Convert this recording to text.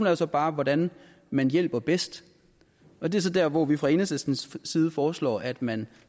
er så bare hvordan man hjælper bedst og det er så der hvor vi fra enhedslistens side foreslår at man